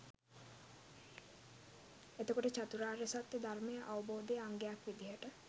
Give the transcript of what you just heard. එතකොට චතුරාර්ය සත්‍යය ධර්මය අවබෝධයේ අංගයක් විදිහට